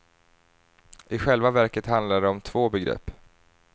I själva verket handlar det om två begrepp.